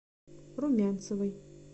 румянцевой